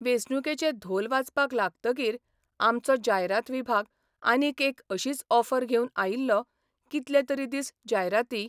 वेंचणुकेचे धोल वाजपाक लागतकीर आमचो जायरात विभाग आनीक एक अशीच ऑफर घेवन आयिल्लो कितले तरी दीस जायराती.